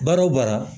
Baara o baara